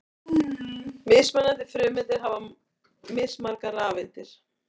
Mismunandi frumeindir hafa mismargar rafeindir.